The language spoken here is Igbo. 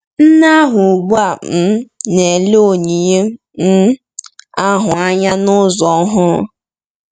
Nne ahụ ugbu a um na-ele onyinye um ahụ anya n’ụzọ ọhụrụ.